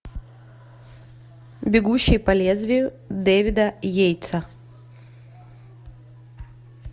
бегущий по лезвию дэвида йейтса